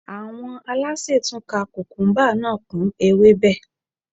Àwọn alásè tún ka kùkúmúbá náà kún ewébẹ̀